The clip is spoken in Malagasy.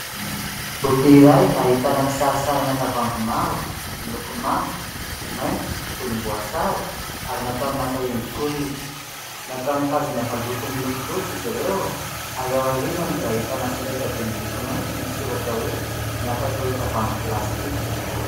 Boky iray ahitana kisarisarina tavoahangy maro miloko manga maitso volomboasary ary natao naka endrik'olona. Natao nitazona valopy miloko fotsy izy ireo ary ao aorianany dia ahitana solaitra be miloko mainty misy soratra hoe : "Ny hafatr'ireo tavoahangy plastika."